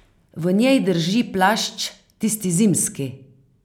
V njej drži plašč, tisti zimski.